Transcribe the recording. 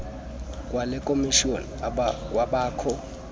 kwale khomishoni kwabakho